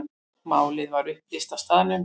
Málið var upplýst á staðnum.